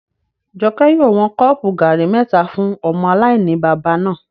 Jọkẹ́ yóò wọn kọ́ọ̀pù gàrí mẹ́ta fún ọmọ aláìní-baba náà